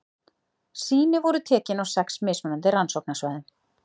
Sýni voru tekin á sex mismunandi rannsóknarsvæðum.